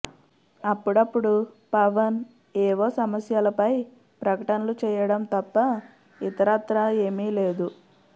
అప్పుడప్పుడు పవన్ ఏవో సమస్యలపై ప్రకటనలు చేయడం తప్ప ఇతరత్రా ఏమీ లేదు